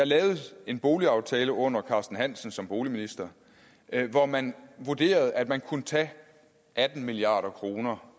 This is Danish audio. lavet en boligaftale under carsten hansen som boligminister hvor man vurderede at man kunne tage atten milliard kroner